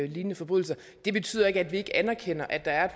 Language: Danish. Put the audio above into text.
lignende forbrydelser det betyder ikke at vi ikke anerkender at der er